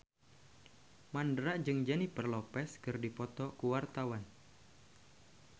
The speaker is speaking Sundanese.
Mandra jeung Jennifer Lopez keur dipoto ku wartawan